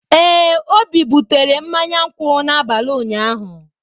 Ee, Obi butere mmanya nkwu n'abalị ụnyaahụ.